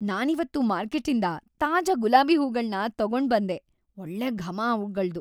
ನಾನಿವತ್ತು ಮಾರ್ಕೆಟ್ಟಿಂದ ತಾಜಾ ಗುಲಾಬಿ ಹೂಗಳ್ನ ತಗೊಂಡ್ಬಂದೆ.. ಒಳ್ಳೆ ಘಮ ಅವ್ಗಳ್ದು.